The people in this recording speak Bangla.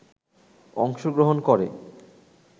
অংশগ্রহণ করে